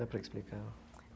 Dá para explicar.